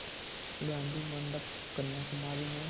गाधी मंडपम् कन्याकुमारी में